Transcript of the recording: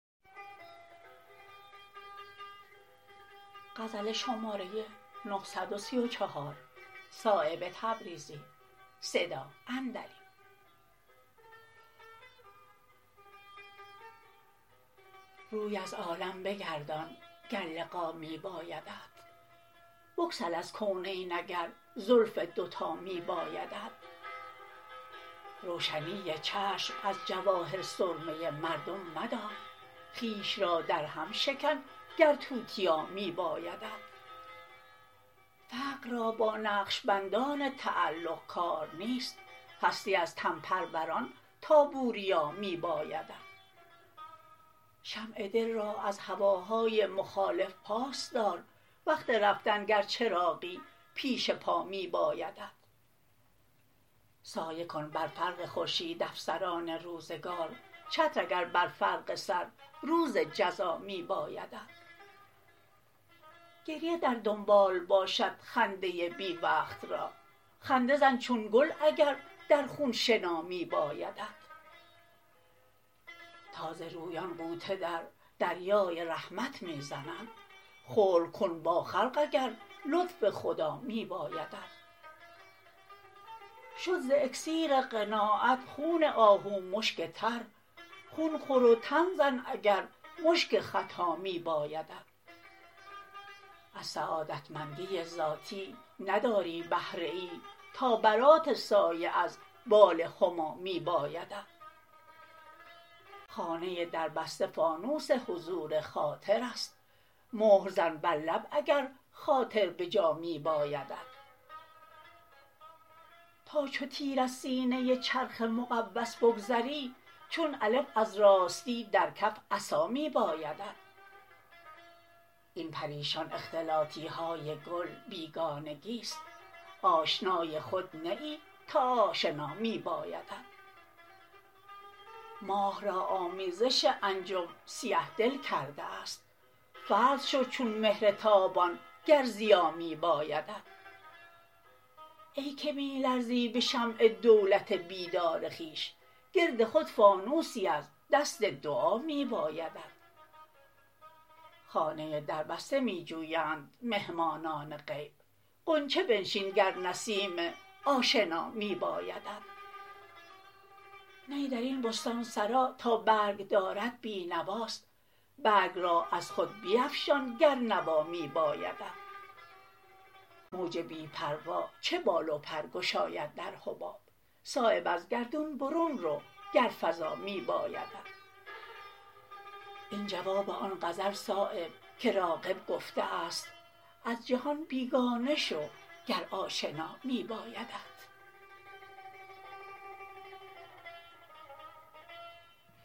روی از عالم بگردان گر لقا می بایدت بگسل از کونین اگر زلف دو تا می بایدت روشنی چشم از جواهر سرمه مردم مدار خویش را در هم شکن گر توتیا می بایدت فقر را با نقشبندان تعلق کار نیست هستی از تن پروران تا بوریا می بایدت شمع دل را از هواهای مخالف پاس دار وقت رفتن گر چراغی پیش پا می بایدت سایه کن بر فرق خورشید افسران روزگار چتر اگر بر فرق سر روز جزا می بایدت گریه در دنبال باشد خنده بی وقت را خنده زن چون گل اگر در خون شنا می بایدت تازه رویان غوطه در دریای رحمت می زنند خلق کن با خلق اگر لطف خدا می بایدت شد ز اکسیر قناعت خون آهو مشک تر خون خور و تن زن اگر مشک ختا می بایدت از سعادتمندی ذاتی نداری بهره ای تا برات سایه از بال هما می بایدت خانه دربسته فانوس حضور خاطرست مهر زن بر لب اگر خاطر بجا می بایدت تا چو تیر از سینه چرخ مقوس بگذری چون الف از راستی در کف عصا می بایدت این پریشان اختلاطی ها گل بیگانگی است آشنای خود نه ای تا آشنا می بایدت ماه را آمیزش انجم سیه دل کرده است فرد شو چون مهر تابان گر ضیا می بایدت ای که می لرزی به شمع دولت بیدار خویش گرد خود فانوسی از دست دعا می بایدت خانه دربسته می جویند مهمانان غیب غنچه بنشین گر نسیم آشنا می بایدت نی درین بستانسرا تا برگ دارد بی نواست برگ را از خود بیفشان گر نوا می بایدت موج بی پروا چه بال و پر گشاید در حباب صایب از گردون برون رو گر فضا می بایدت این جواب آن غزل صایب که راغب گفته است از جهان بیگانه شو گر آشنا می بایدت